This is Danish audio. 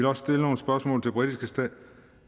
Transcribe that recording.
også stille nogle spørgsmål til britiske